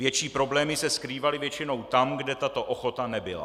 Větší problémy se skrývaly většinou tam, kde tato ochota nebyla.